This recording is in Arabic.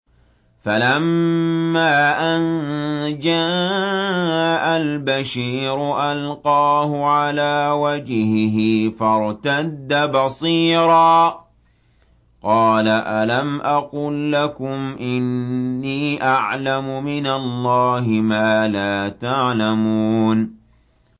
فَلَمَّا أَن جَاءَ الْبَشِيرُ أَلْقَاهُ عَلَىٰ وَجْهِهِ فَارْتَدَّ بَصِيرًا ۖ قَالَ أَلَمْ أَقُل لَّكُمْ إِنِّي أَعْلَمُ مِنَ اللَّهِ مَا لَا تَعْلَمُونَ